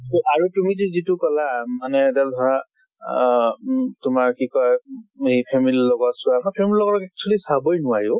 আৰু তুমি যে যিটো কলা মানে ধৰা আহ উম তোমাৰ কি কয় সেই family লগত চোৱা। family ৰ লগত actually চাবই নোৱাৰি অ।